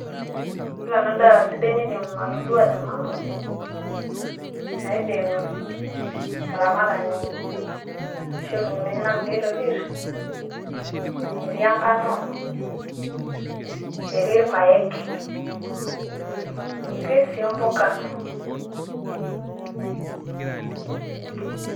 ore nanu edaa sidai naidim atoduaa te nanu, naidim olaramatani, aishoo ilukunkuni enyenak pee itopir, etii enkano, etii irpaek, etii sii mppuka.